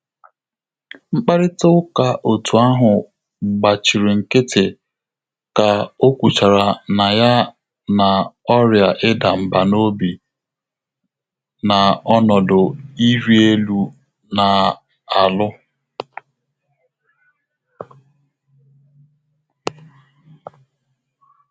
Mkpàrị́tà ụ́ká òtù áhụ́ gbàchìrì nkị́tị́ kà ọ́ kwùchàrà nà yá nà ọ́rị́à ịda mbà n'obi na ọnọdụ ịrị elu nà-álụ́.